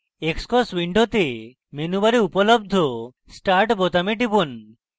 xcos window মেনুবারে উপলব্ধ start বোতামে টিপুন